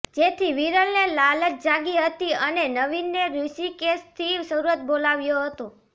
જેથી વિરલને લાલચ જાગી હતી અને નવીન ને ઋષિકેશથી સુરત બોલાવ્યો હતો